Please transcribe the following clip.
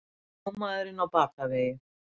Sjómaðurinn á batavegi